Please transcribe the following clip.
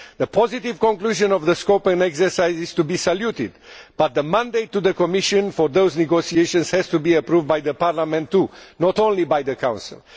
The positive conclusion of the scoping exercise is to be saluted, but the mandate to the Commission for those negotiations has to be approved by Parliament too, not just by the Council.